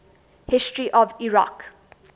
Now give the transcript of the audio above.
history of iraq